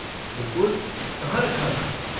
बिलकुल, कहाँ रखा था?